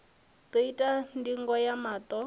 ḓo itwa ndingo ya maṱo